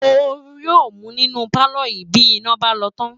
Ooru yóòmú nínú pálọ̀ yìí bí iná bá lọ tán